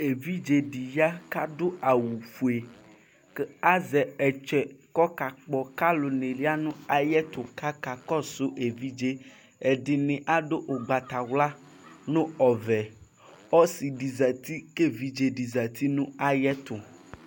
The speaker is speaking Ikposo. Evidzedi ya kʋ adʋ awʋ ƒue ku azɛ ɔtsɛ ku ɔkakpɔ ku alʋ ni yanu ayiʋ ɛtu ku akakɔsu evidze yɛ ɛdini adu ugbatawla, nu ɔvɛɔsidi zati ku evidze di zati nu ayiʋ ɛtu